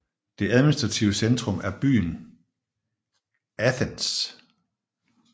Det administrative centrum er byen Athens